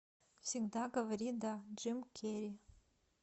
всегда говори да джим керри